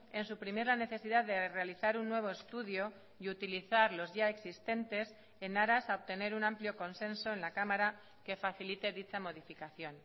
en suprimir la necesidad de realizar un nuevo estudio y utilizar los ya existentes en aras a obtener un amplio consenso en la cámara que facilite dicha modificación